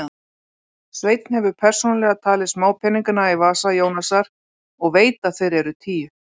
Sveinn hefur persónulega talið smápeningana í vasa Jónasar og veit að þeir eru tíu.